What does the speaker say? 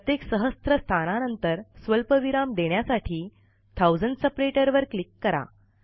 प्रत्येक सहस्त्र स्थानानंतर स्वल्पविराम देण्यासाठी थाउसंड सेपरेटर वर क्लिक करा